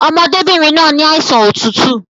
Ọmọdébìnrin náà ni àìsàn otútù